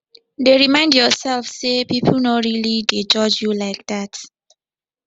dey remind yourself say people no really dey judge you like that